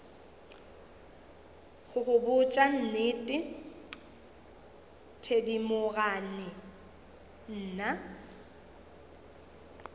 go botša nnete thedimogane nna